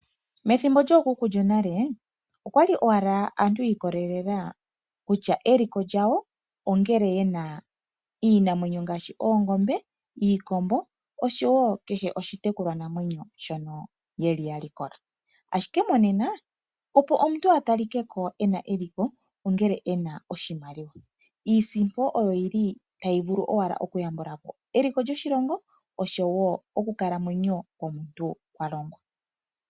Methimbo lyookuku lyonale okwali owala aantu yi ikolelela kutya eliko lyawo ongele yena iinamwenyo ngaashi oongombe, iikombo oshowo kehe oshitekulwa namwenyo mbyono yeli ya likola. Ashike monena opo omuntu a talikeko ena eliko ongele ena oshipewa. Iisimpo oyl yili tayi vulu owala nokuyambulapo eliko lyoshilongo oshowo oku kalamwenyo komuntu.